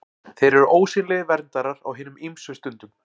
Þeir eru ósýnilegir verndarar á hinum ýmsu stundum.